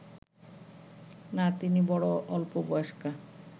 না, তিনি বড় অল্পবয়স্কা